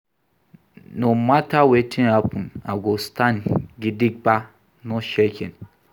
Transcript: No mata wetin happen, I go stand gidigba, no shaking.